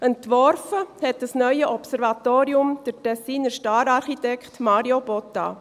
Entworfen hat dieses neue Observatorium der Tessiner Star-Architekt Mario Botta.